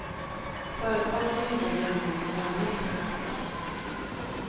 Företag som inte har jämlika löner får böta.